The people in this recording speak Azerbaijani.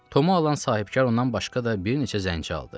Tomu alan sahibkar ondan başqa da bir neçə zənci aldı.